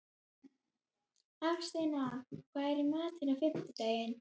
Hafsteina, hvað er í matinn á fimmtudaginn?